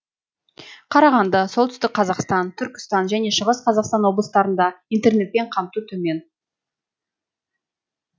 қарағанды солтүстік қазақстан түркістан және шығыс қазақстан облыстарында интернетпен қамту төмен